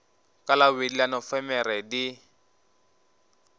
ka labobedi la nofemere di